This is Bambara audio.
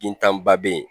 Bintanba bɛ yen